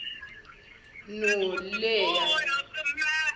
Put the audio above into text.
noleya